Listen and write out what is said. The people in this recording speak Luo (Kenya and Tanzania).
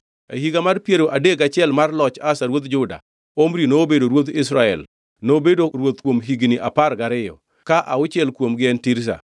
E higa mar piero adek gachiel mar loch Asa ruodh Juda, Omri nobedo ruodh Israel, nobedo ruoth kuom higni apar gariyo, ka auchiel kuomgi en Tirza.